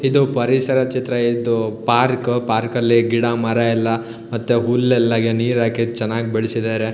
ಇದು ಪರಿಸರ ಚಿತ್ರ ಆಯ್ತು ಪಾರ್ಕು ಪಾರ್ಕಲ್ಲಿ ಗಿಡಮರ ಎಲ್ಲಾ ಮತ್ತೆ ಹುಲ್ಲೆಲ್ಲಾ ನೀರ್ ಹಾಕಿರೆ ಚನ್ನಾಗಿ ಬೆಳಸಿದರೆ.